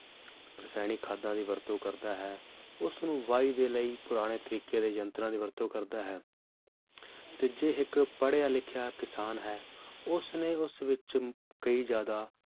ਰਸਾਇਣਿਕ ਖਾਦਾਂ ਦੀ ਵਰਤੋਂ ਕਰਤਾ ਹੈ ਉਸਨੂੰ ਵਾਈ ਦੇ ਲਯੀ ਪੁਰਾਣੇ ਤਰੀਕੇ ਦੇ ਯੰਤਰਾਂ ਦੀ ਵਰਤੋਂ ਕਰਦਾ ਹੈ ਤੇ ਜੇ ਇਕ ਪੜ੍ਹਿਆ ਲਿਖਿਆ ਕਿਸਾਨ ਹੈ ਉਸਨੇ ਉਸ ਵਿਚ ਕਯੀ ਜ਼ਿਆਦਾ